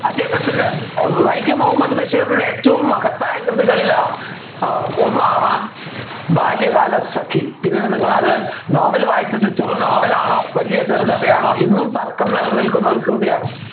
അദ്ദേഹത്തിൻ്റെ വൈക്കം മുഹമ്മദ് ബഷീറിൻ്റെ ഏറ്റവും മഹത്തായ കൃതികളില് ഏർ ഒന്നാണ് ബാല്യകാലസഖി ഇത് നിങ്ങൾ അത് നോവൽ വായിച്ചിട്ട് ചെറു നോവലാണോ വലിയ ചെറുകഥയാണ് ഇന്നും തർക്കം നിൽക്കുന്ന ഒരു കൃതിയാണ്